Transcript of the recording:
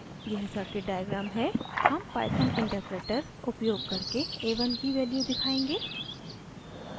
यह circuit diagram है हम python interpreter उपयोग करके a1 की value दिखायेंगे